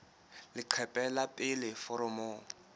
leqephe la pele la foromo